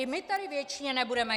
I my tady věčně nebudeme.